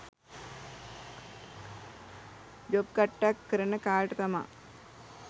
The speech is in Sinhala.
ජොබ් කට්ටක් කරන කාලෙට තමා